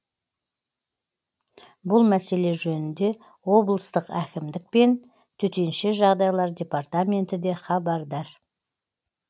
бұл мәселе жөнінде облыстық әкімдік пен төтенше жағдайлар департаменті де хабардар